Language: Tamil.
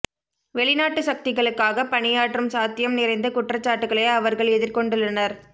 வெளிநாட்டு சக்திகளுக்காக பணியாற்றும் சாத்தியம் நிறைந்த குற்றச்சாட்டுகளை அவர்கள் எதிர்கொண்டுள்ளனர்